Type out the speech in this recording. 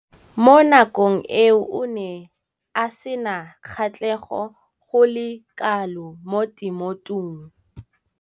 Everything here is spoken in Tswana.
Mo nakong eo o ne a sena kgatlhego go le kalo mo temothuong.